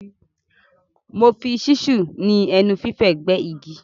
Mo fi ṣísù ni ẹnu fífẹ̀ gbẹ́ igi.